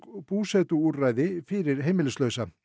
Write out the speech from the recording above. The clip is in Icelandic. búsetuúrræði fyrir heimilslausa